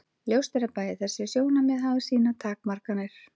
Ljóst er að bæði þessi sjónarmið hafa sínar takmarkanir.